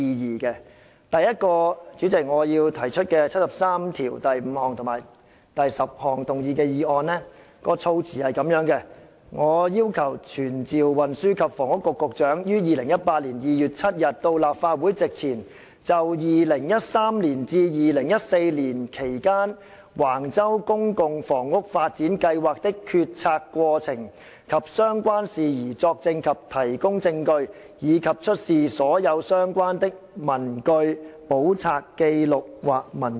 主席，第一項我要提出的議案，根據《基本法》第七十三條第五項及第七十三條第十項動議，措辭如下："傳召運輸及房屋局局長於2018年2月7日到立法會席前，就2013年至2014年期間，橫洲公共房屋發展計劃的決策過程及相關事宜作證及提供證據，以及出示所有相關的文據、簿冊、紀錄或文件。